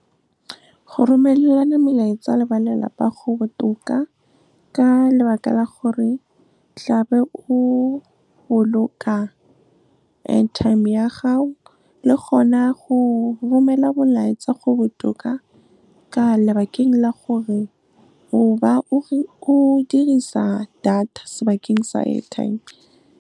Go romelana melaetsa le ba lelapa go botoka ka lebaka la gore tlabe o boloka airtime ya gago, le gona go romela molaetsa go botoka ka lebakeng la gore o ba o dirisa data sebakeng sa airtime.